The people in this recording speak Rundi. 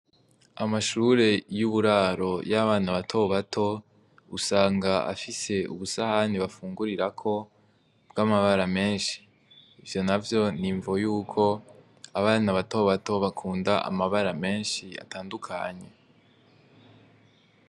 Amashure y'uburaro y'abana batobato usanga afise ubusahani bafungurirako bw'amabara menshi ivyo na vyo nimvo yuko abana batobato bakunda amabara menshi atandukanye.